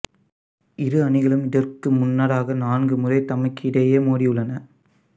இரு அணிகளும் இதற்கு முன்னதாக நான்கு முறை தமக்கிடையே மோதியுள்ளன